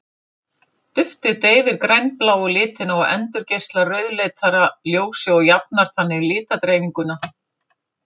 Duftið deyfir grænbláu litina og endurgeislar rauðleitara ljósi og jafnar þannig litadreifinguna.